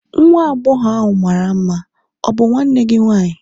nwa agbọghọ ahụ mara mma, ọ bụ nwanne gị nwanyị?